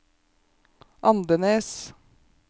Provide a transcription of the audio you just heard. Andenes